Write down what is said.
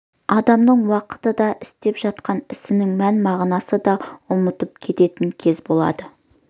адамның уақытты да істеп жатқан ісінің мән-мағынасын да ұмытып кететін кезі болады